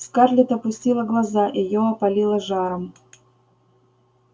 скарлетт опустила глаза её опалило жаром